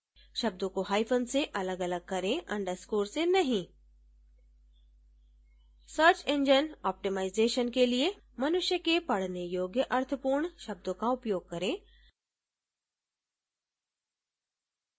शब्दों को hyphen से अलगअलग करें underscore से नहीं search engine optimization seo के लिए मनुष्य के पढ़ने योग्य अर्थपूर्ण शब्दों का उपयोग करें